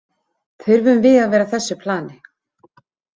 Þurfum við að vera á þessu plani?